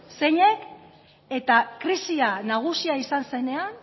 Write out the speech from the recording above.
zeinek eta krisia nagusia izan zenean